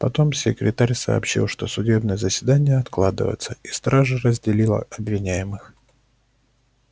потом секретарь сообщил что судебное заседание откладывается и стража разделила обвиняемых